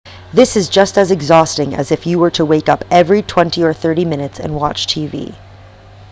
this is just as exhausting as if you were to wake up every twenty or thirty minutes and watch tv